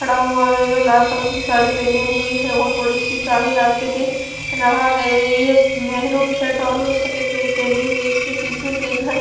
खड़ा हुआ है जो लाल कलर की साड़ी पहनी हुई है और बड़ी सी चाबी हाथ में दि रहा है ये महरूम शर्ट और सफेद पैंट पहनी हुए इसके पीछे के घर--